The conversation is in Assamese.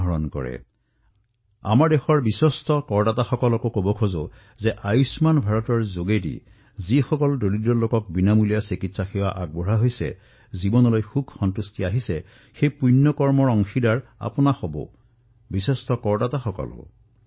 আৰু মই আমাৰ দেশৰ নিষ্ঠাৱান কৰদাতাসকলক কব বিচাৰিছো যে আয়ুষ্মান ভাৰত যোজনাৰ অধীনত যিসকল দুখীয়াই বিনামূলীয়া চিকিৎসা লাভ কৰিছে তেওঁলোকৰ জীৱনলৈ যি সুখ আহিছে সন্তোষ লাভ কৰিছে সেই পূণ্যৰ প্ৰকৃত অধিকাৰী হল আপোনালোক আমাৰ নিষ্ঠাৱান কৰদাতাও এই পূণ্যৰ অধিকাৰী